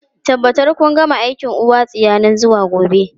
Tabbatar kun gama aikin uwa tsiya nan zuwa gobe!